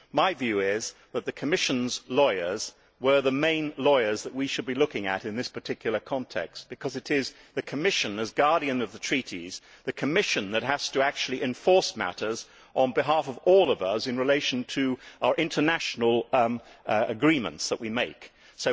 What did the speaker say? My view is that the Commission's lawyers are the main lawyers that we should be looking at in this particular context, because it is the Commission as guardian of the treaties that has to actually enforce matters on behalf of us all in relation to the international agreements that we conclude.